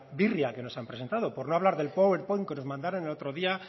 birria que nos han presentado por no hablar power point que nos mandaron el otro día